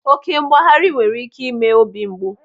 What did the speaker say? Oké mgbaghari nwere ike ime obi mgbu.